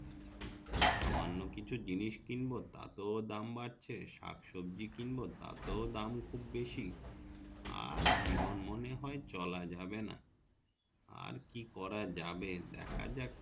সামান্য কিছু জিনিস কিনবো তাতেও দাম বাড়ছে শাক সবজি কিনবো তাতেও দাম খুব বেশি আর জীবন মনে হয় চলা যাবে না আর কি করা যাবে দেখা যাক